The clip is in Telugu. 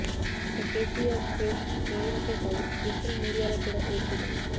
ఇక కేసీఆర్ క్రేజ్ టీవీలకే కాదు డిజిటల్ మీడియాలో కూడా విపరీతం